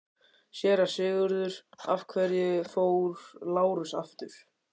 SÉRA SIGURÐUR: Af hverju fór Lárus aftur?